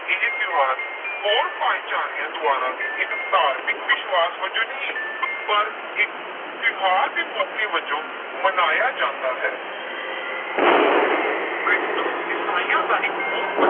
ਇਹ ਤਿਉਹਾਰ ਹੋਰ ਭਾਈਚਾਰਿਆਂ ਦੁਆਰਾ ਵੀ ਇੱਕ ਧਾਰਮਿਕ ਵਿਸ਼ਵਾਸ ਵਜੋਂ ਨਹੀਂ, ਪਰ ਇੱਕ ਤਿਉਹਾਰ ਦੇ ਮੌਕੇ ਵਜੋਂ ਮਨਾਇਆ ਜਾਂਦਾ ਹੈ ਕ੍ਰਿਸਮਸ ਈਸਾਈਆਂ ਦਾ ਇਕ ਬਹੁਤ